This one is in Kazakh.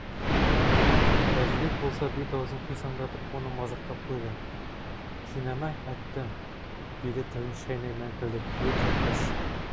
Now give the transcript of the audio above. әжібек болса бет аузын қисаңдатып оны мазақтап қойды кинәмә әтті деді тілін шайнай мәңкілдеп өй кәкпәс